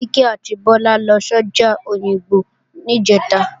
Kíkẹ́ àti Bọ́lá lọ sọ́jà Òyìngbò níjẹ̀ta